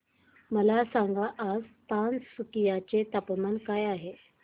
मला सांगा आज तिनसुकिया चे तापमान काय आहे